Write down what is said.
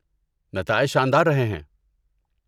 نتائج شاندار رہے ہیں۔